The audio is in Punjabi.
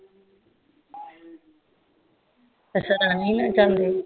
ਅਸ਼ਾ ਰਾਣੀ ਨਾਲ ਜਾਂਦੇ